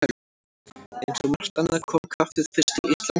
Eins og margt annað kom kaffið fyrst til Íslands frá Danmörku.